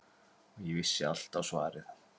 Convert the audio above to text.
Og ég vissi alltaf svarið.